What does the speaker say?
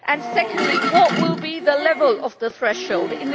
Secondly, what will the level of the threshold be?